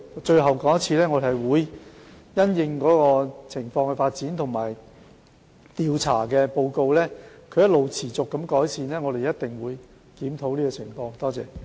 最後，我重申，我們會密切留意情況的發展和調查報告，若情況持續改善，我們一定會作出檢討。